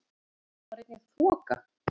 Þá var einnig þoka